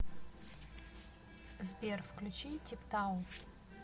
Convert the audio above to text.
сбер включи типтау